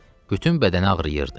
Bütün bədəni ağrıyırdı.